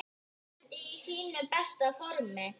Ertu í þínu besta formi?